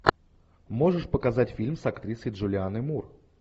можешь показать фильм с актрисой джулианной мур